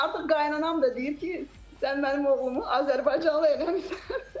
Artıq qaynanam da deyir ki, sən mənim oğlumu azərbaycanlı eləmisən.